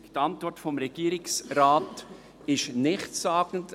Die Antwort des Regierungsrates ist nichtssagend.